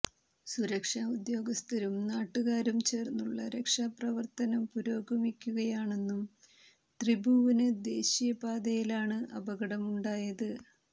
സുരക്ഷാ ഉദ്യോഗസ്ഥരും നാട്ടുകാരും ചേര്ന്നുള്ള രക്ഷാപ്രവര്ത്തനം പുരോഗമിക്കുകയാണെന്നും ത്രിഭുവന് ദേശീയപാതയിലാണ് അപകടമുണ്ടായത്